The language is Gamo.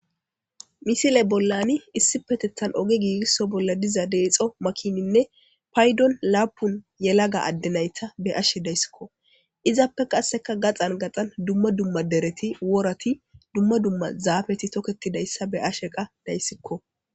Misile bollani issipeteththan oge giigisso bolla diza deexo makininne paydon laapun yelaga adde nayta be ashe dayskko. Izappe qasseka gaxan gaxan dumma dumma dereti worati dumma dumma zaafeti toketidayssa be ashe qa dayssikko.